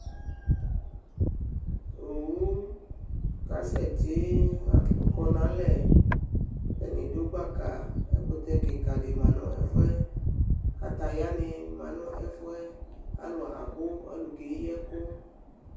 Owʋ kasɛti, akɔ nʋ alɛ, ɛdɩnɩ du gbaka Ɛkʋtɛ kɩka dɩ manʋ ɛfʋɛ Kataya nɩ ma nʋ ɛfʋɛ, akʋ alʋ keyi ɛkʋ